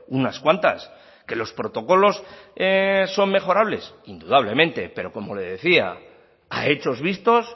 unas cuantas que los protocolos son mejorables indudablemente pero como le decía a hechos vistos